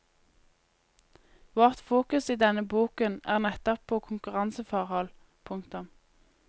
Vårt fokus i denne boken er nettopp på konkurranseforhold. punktum